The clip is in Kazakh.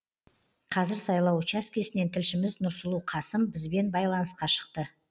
қазір сайлау учаскесінен тілшіміз нұрсұлу қасым бізбен байланысқа шықты